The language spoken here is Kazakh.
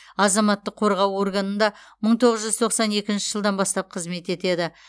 азаматтық қорғау органында мың тоғыз жүз тоқсан екінші жылдан бастап қызмет етеді